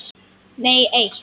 Nei eitt.